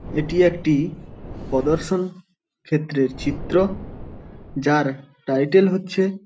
এটি একটি পদর্শন ক্ষেত্রের চিত্র যার টাইটেল হচ্ছে --